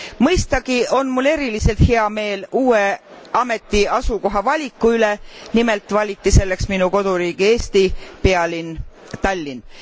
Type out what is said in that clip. Mõistagi on mul eriliselt hea meel uue ameti asukoha valiku üle, nimelt valiti selleks minu koduriigi Eesti pealinn Tallinn.